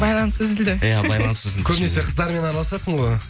байланыс үзілді иә байланыс үзілді көбінесе қыздармен араласасың ғой